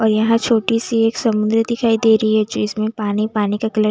और यहाँ छोटी सी एक समुंद्र दिखाई दे रही है जो इसमें पानी पानी का कलर --